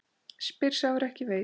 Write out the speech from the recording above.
Spyr sá er ekki veit?